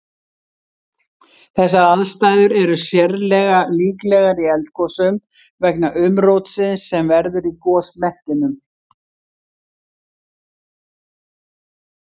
Þessar aðstæður er sérlega líklegar í eldgosum vegna umrótsins sem verður í gosmekkinum.